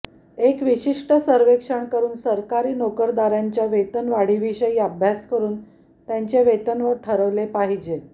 एक विशिष्ट सर्वेक्षण करून सरकारी नोकरदारांच्या वेतन वाढीविषयी अभ्यास करून त्यांचे वेतन ठरवले पाहिजे